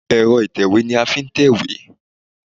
Ẹ̀rọ ìtẹ̀wé ni a fi n tèwé